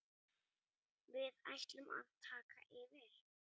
Við ætlum að taka yfir.